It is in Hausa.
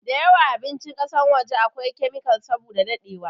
da yawan abincin kasan waje a kwai kemikal saboda dadewa